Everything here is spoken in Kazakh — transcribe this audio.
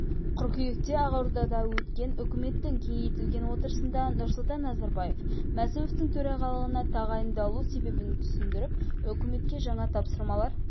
қыркүйекте ақордада өткен үкіметтің кеңейтілген отырысында нұрсұлтан назарбаев мәсімовтің төрағалығына тағайындалу себебін түсіндіріп үкіметке жаңа тапсырмалар